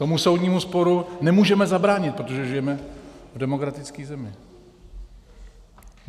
Tomu soudnímu sporu nemůžeme zabránit, protože žijeme v demokratické zemi.